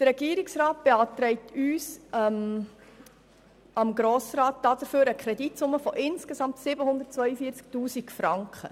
Der Regierungsrat beantragt dem Grossen Rat dafür eine Kreditsumme von insgesamt 742 000 Franken.